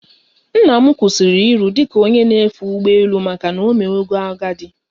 Nnam kwụsịrị iru dị ka onye na-efe ụgbọ elu maka na omewago agadi